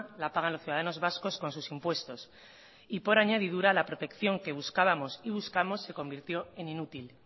la pagan los ciudadanos vascos con sus impuestos y por añadidura la protección que buscábamos y buscamos se convirtió en inútil